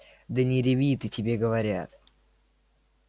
да не реви ты тебе говорят